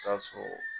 Taa sɔrɔ